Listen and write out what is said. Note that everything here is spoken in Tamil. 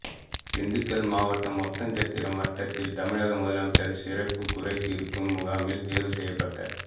திண்டுக்கல் மாவட்டம் ஒட்டன்சத்திரம் வட்டத்தில் தமிழக முதலமைச்சா் சிறப்பு குறை தீா்க்கும் முகாமில் தோ்வு செய்யப்பட்ட